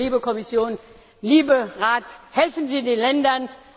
Bitte, liebe Kommission, lieber Rat, helfen Sie den Ländern!